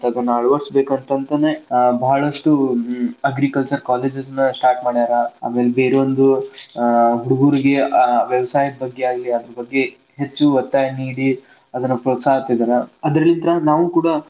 ಅಳವಡಿಸಬೇಕ್ ಅಂತ ಅಂತಾನೆ ಬಾಳ್ಷ್ಟು agriculture college ಗಳ start ಮಾಡ್ಯಾರ ಆಮೇಲೆ ಬೇರೊಂದು ಹುಡುಗುರಿಗೆ ಆ ವ್ಯವಸಾಯದ ಬಗ್ಗೆ ಆಗ್ಲಿ ಅದರ ಬಗ್ಗೆ ಹೆಚ್ಚು ವತ್ತಾಯ ನೀಡಿ ಅದನ್ನ ಪ್ರೋತ್ಸಾಹ ಕೊಡುದ ಅದೇ ರೀತಿಯಾಗಿ ನಾವೂನು ಕೂಡಾ.